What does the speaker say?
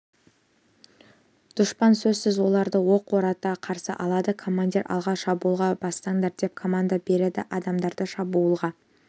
дұшпан сөзсіз оларды оқ бората қарсы алады командир алға шабуылға бастаңдар деп команда береді адамдарды шабуылға